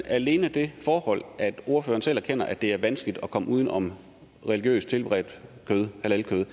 alene det forhold at ordføreren selv erkender at det er vanskeligt at komme uden om religiøst tilberedt kød halalkød